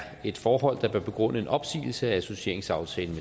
forhold der bør begrunde en opsigelse af associeringsaftalen